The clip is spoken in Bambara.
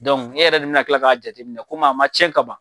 e yɛrɛ de bina kila k'a jateminɛ komi a ma tiɲɛ kaban.